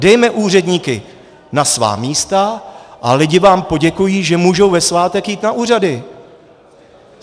Dejme úředníky na svá místa a lidi vám poděkují, že mohou ve svátek jít na úřady.